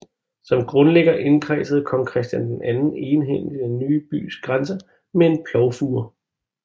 Som grundlægger indkredsede kong Christian II egenhændigt den ny bys grænser med en plovfure